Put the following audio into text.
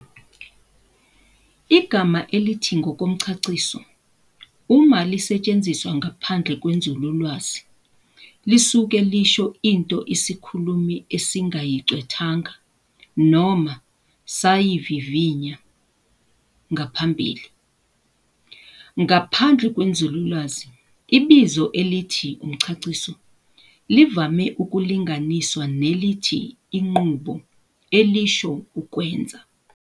Igama elithi "ngokomchachiso" uma lisetshenziswa ngaphandle kwenzululwazi lisuke lisho into isikhulumi esingayigcwethanga noma sayivivinya ngaphambili. Ngaphandle kwenzululwazi, ibizo elithi "umchachiso" livame ukulunganiswa nelithi 'inqubo' elisho ukwenza.